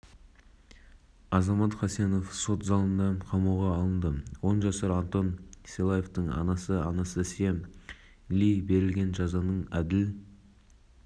деген айып тағылып азамат хасенов бір жыл бас бостандығынан айырылып көлік жүргізу құқығынан үш жылға